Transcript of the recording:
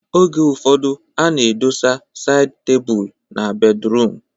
Oge ụfọdụ a na-edosa saịd tebụl na bedruum